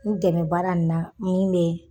N dɛmɛ baara nin na min be